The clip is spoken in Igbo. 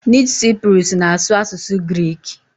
Nid Cyprus na asu asusu Greeki